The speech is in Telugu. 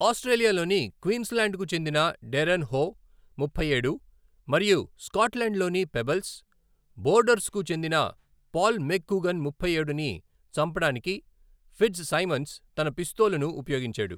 ఆస్ట్రేలియాలోని క్వీన్స్లాండ్కు చెందిన డెరెన్ హో, ముప్పై ఏడు, మరియు స్కాట్లాండ్లోని పెబెల్స్, బోర్డర్స్కు చెందిన పాల్ మెక్గూగన్, ముప్ఫైఏడు, ని చంపడానికి ఫిట్జ్సైమన్స్ తన పిస్తోలును ఉపయోగించాడు.